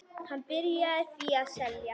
Hann byrjaði því að selja.